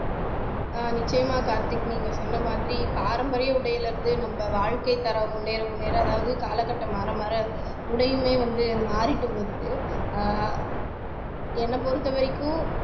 ஆஹ் நிச்சயமாக கார்த்திக் நீங்க சொன்ன மாதிரி பாரம்பரிய உடையில இருந்து நம்ம வாழ்க்கைத்தரம் முன்னேற முன்னேற அதாவது காலகட்டம் மாறமாற உடையுமே வந்து மாறிட்டு வருது ஆஹ் என்ன பொறுத்தவரைக்கும்